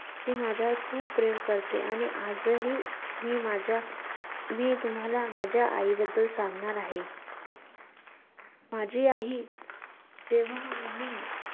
ती माझ्या~ खूप प्रेम करते आणि आजही मी माझ्या~ मी तुम्हाला माझ्या आईबद्दल सांगणार आहे. माझी आई ही~ जेव्हा आम्ही